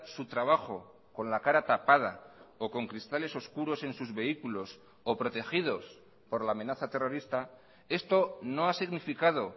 su trabajo con la cara tapada o con cristales oscuros en sus vehículos o protegidos por la amenaza terrorista esto no ha significado